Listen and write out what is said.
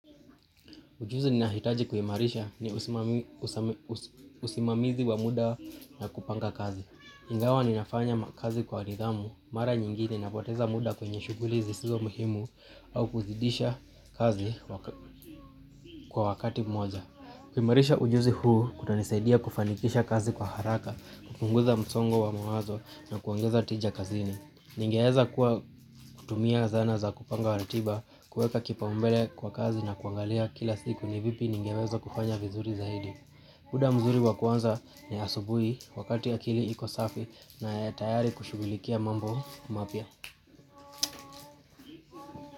Ujuzi ninahitaji kuimarisha ni usimamizi wa muda na kupanga kazi. Ingawa ninafanya kazi kwa nidhamu, mara nyingine napoteza muda kwenye shuguli zisizo muhimu au kuzidisha kazi kwa wakati moja. Kuimarisha ujuzi huu kutanisaidia kufanikisha kazi kwa haraka, kupunguza msongo wa mawazo na kuongeza tija kazini. Ningeweza kuwa kutumia zana za kupanga ratiba, kuweka kipaumbele kwa kazi na kuangalia kila siku ni vipi ningeweza kufanya vizuri zaidi. Muda mzuri wa kuanza ni asubuhi wakati akili iko safi na ya tayari kushughulikia mambo mapya.